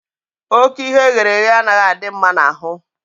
Ókè ihe eghere eghe anaghị adị mma n'ahụ